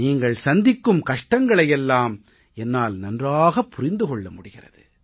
நீங்கள் சந்திக்கும் கஷ்டங்களை எல்லாம் என்னால் நன்றாகப் புரிந்து கொள்ள முடிகிறது